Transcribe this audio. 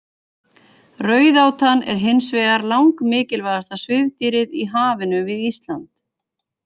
Rauðátan er hins vegar langmikilvægasta svifdýrið í hafinu við Ísland.